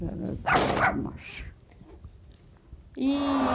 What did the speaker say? Já não trabalho mais. E...